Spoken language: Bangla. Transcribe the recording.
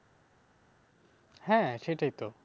হ্যাঁ সেইটাই তো